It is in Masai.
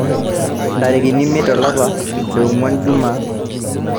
Ntarikini imiet olapa longuan ijumaa